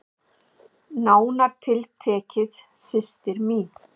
Nánar tiltekið systir mín.